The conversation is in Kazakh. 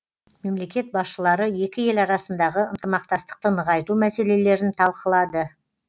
мемлекет басшылары екі ел арасындағы ынтымақтастықты нығайту мәселелерін талқылады